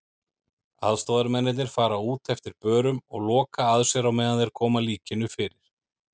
Aðstoðarmennirnir fara út eftir börum og loka að sér á meðan þeir koma líkinu fyrir.